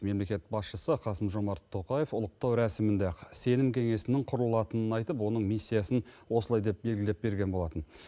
мемлекет басшысы қасым жомарт тоқаев ұлықтау рәсімінде ақ сенім кеңесінің құрылатынын айтып оның миссиясын осылай деп белгілеп берген болатын